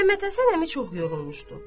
Məmməd Həsən əmi çox yorulmuşdu.